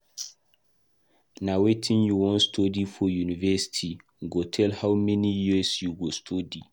Na wetin you wan study for university go tell how many years you go study.